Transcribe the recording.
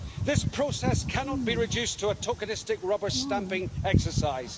This process cannot be reduced to a tokenistic rubber-stamping exercise.